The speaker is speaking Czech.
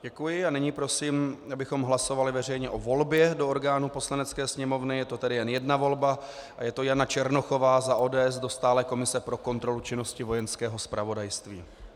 Děkuji a nyní prosím, abychom hlasovali veřejně o volbě do orgánů Poslanecké sněmovny, je to tedy jen jedna volba a je to Jana Černochová za ODS do stálé komise pro kontrolu činnosti Vojenského zpravodajství.